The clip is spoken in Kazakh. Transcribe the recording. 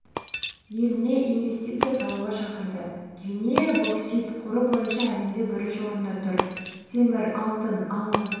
еліне инвестиция салуға шақырды гвинея боксит қоры бойынша әлемде бірінші орында тұр темір алтын алмас